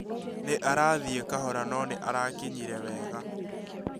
Nĩ arathĩi kahora no nĩ arakinyire wega